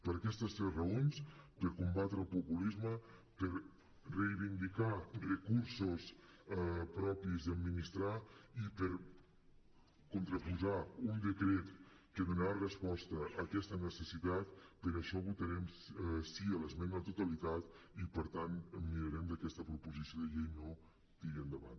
per aquestes tres raons per combatre el populisme per reivindicar recursos propis i administrar i per contraposar un decret que donarà resposta a aquesta necessitat per això votarem sí a l’esmena a la totalitat i per tant mirarem que aquesta proposició de llei no tiri endavant